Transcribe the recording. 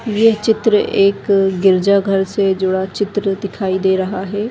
ये चित्र एक गिरिजा घर से जुड़ा चित्र दिखाई दे रहा है।